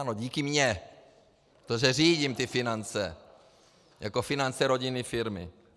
Ano, díky mně, protože řídím ty finance jako finance rodinné firmy.